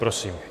Prosím.